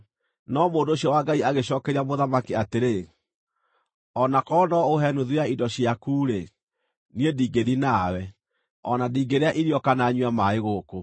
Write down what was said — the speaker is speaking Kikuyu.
No mũndũ ũcio wa Ngai agĩcookeria mũthamaki atĩrĩ, “O na korwo no ũhe nuthu ya indo ciaku-rĩ, niĩ ndingĩthiĩ nawe, o na ndingĩrĩa irio kana nyue maaĩ gũkũ.